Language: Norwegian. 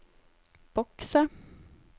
bokse